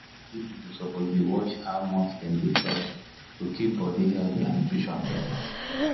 big people suppose dey watch how much dem dey chop to keep body healthy and nutrition better.